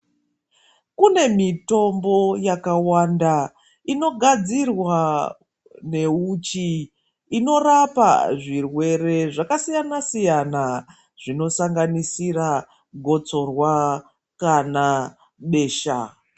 Kune mitombo yakawanda inogadzirwa neuchi inorapa zvirwere zvakasiyana siyana zvinosanganisira gotsorwa kana besha.